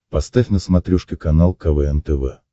поставь на смотрешке канал квн тв